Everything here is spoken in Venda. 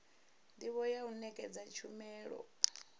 ndivho ya u nekedza tshumelo